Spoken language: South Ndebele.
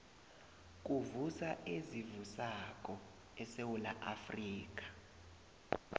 kuvuswa ezivusako esewula afrika